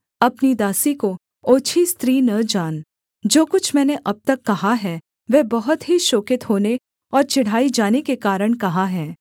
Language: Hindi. अपनी दासी को ओछी स्त्री न जान जो कुछ मैंने अब तक कहा है वह बहुत ही शोकित होने और चिढ़ाई जाने के कारण कहा है